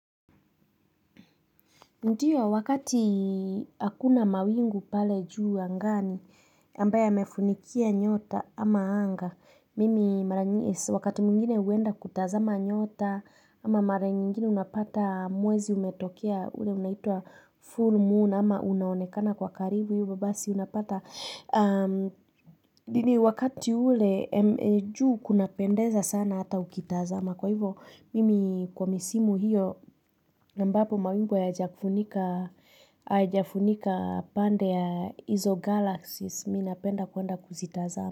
Ndiyo, wakati akuna mawingu pale juu angani, ambaya yamefunikia nyota ama anga. Mimi, wakati mungine uenda kutazama nyota, ama mara nyingine unapata mwezi umetokia, ule unaitua full moon, ama unaonekana kwa karibu, huyo babasi unapata. Dini wakati ule, juu kuna pendeza sana hata ukitazama Kwa hivo, mimi kwa misimu hiyo Nambapo mawimbo ya jafunika pande ya Iso Galaxies Minapenda kuanda kuzitazama.